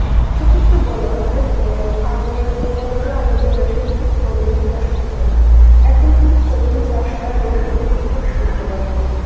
সেক্ষেত্রে বলা যায় যে আগের মনে করো আমাদের দেশে কিন্তু strawberry চাষ হতো না, এখন কিন্তু strawberry চাষ হয় এবং এটি ব্যাপক সম্ভাবনা ময়